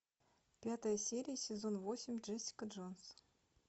пятая серия сезон восемь джессика джонс